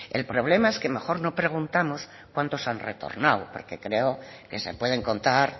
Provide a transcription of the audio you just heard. el problema es que mejor no preguntamos cuántos han retornado porque creo que se pueden contar